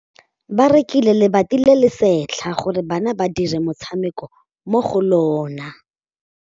Ba rekile lebati le le setlha gore bana ba dire motshameko mo go lona.